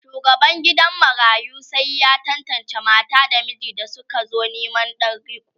shugaban gidan marayun sai ya tantance mata da miji da sukazo Neman Dan riko